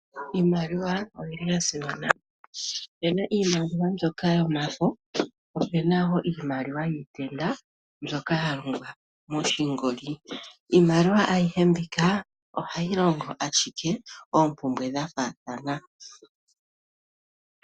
Iimaliwa oyi li ya simana. Opu na iimaliwa mbyoka yomafo, po opu na wo iimaliwa yiitenda mbyoka ya longwa moshingoli. Iimaliwa ayihe mbika ohayi longo ashike oompumbwe dha faathana.